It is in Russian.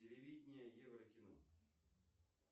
телевидение еврокино